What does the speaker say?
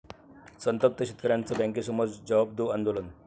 संतप्त शेतकऱ्यांचं बँकेसमोर 'जवाब दो' आंदोलन!